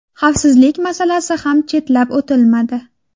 Xavfsizlik masalasi ham chetlab o‘tilmadi.